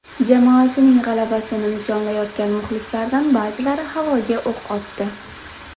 Jamoasining g‘alabasini nishonlayotgan muxlislardan ba’zilari havoga o‘q otdi.